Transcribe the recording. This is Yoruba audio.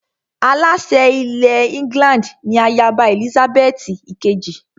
Aláṣẹ ilẹ̀ England ni ayaba Èlísábẹ́ẹ́tì ìkejì